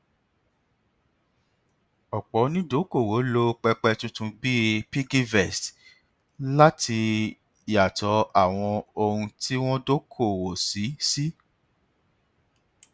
ọpọ onídokoowó lo pẹpẹ tuntun bíi piggyvest láti yàtọ àwọn ohun tí wọn dokoowó sí sí